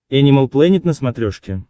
энимал плэнет на смотрешке